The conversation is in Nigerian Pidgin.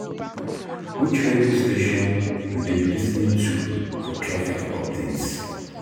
Which radio station you dey lis ten to for traffic updates?